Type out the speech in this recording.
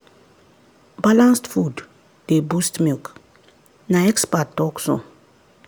balanced food dey boost milk na expert talk so.